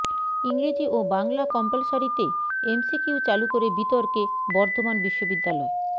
ইংরেজি ও বাংলা কম্পালসারিতে এমসিকিউ চালু করে বিতর্কে বর্ধমান বিশ্ববিদ্যালয়